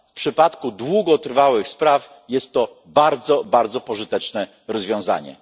W przypadku długotrwałych spraw jest to bardzo, bardzo pożyteczne rozwiązanie.